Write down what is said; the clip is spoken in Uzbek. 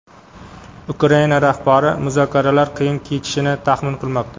Ukraina rahbari muzokaralar qiyin kechishini taxmin qilmoqda.